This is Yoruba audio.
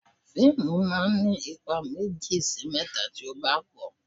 Fíìmù máa ń ní ipa méjì sí mẹ́ta tí ó bá pò.